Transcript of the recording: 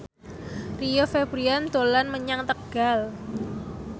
Rio Febrian dolan menyang Tegal